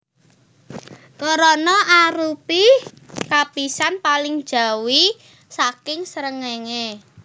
Korona arupi lapisan paling njawi saking srengéngé